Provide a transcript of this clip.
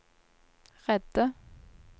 redde